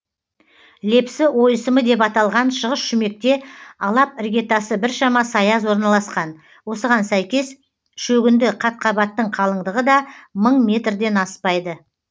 лепсі ойысымы деп аталган шығыс шүмекте алап іргетасы біршама саяз орналасқан осыған сәйкес шогінді қатқабаттың қалыңдығы да мың метрден аспайды